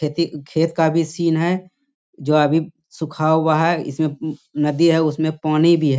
खेती खेत का भी सीन है जो अभी सुखा हुआ है। इसमें उ उ नदी है उसमें पानी भी है।